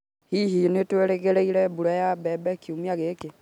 Hihi nĩ twĩrĩgĩrĩre mbura ya mbembe kiumia gĩkĩ?